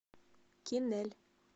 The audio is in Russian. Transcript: кинель